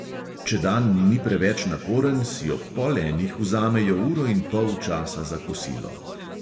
Če dan ni preveč naporen, si ob pol enih vzamejo uro in pol časa za kosilo.